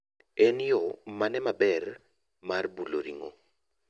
En yoo mane maber mar bulo ring'o?